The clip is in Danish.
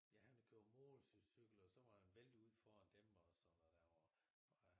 Ja han havde kørt motorcykel og så var han væltet ude foran dem og sådan noget der og